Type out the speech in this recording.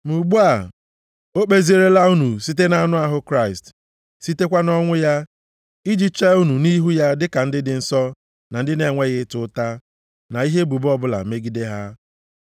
Ma ugbu a, o kpezierela unu site na-anụ ahụ Kraịst, sitekwa nʼọnwụ ya, iji chee unu nʼihu ya dịka ndị dị nsọ, na ndị na-enweghị ịta ụta, na ihe ebubo ọbụla megide ha.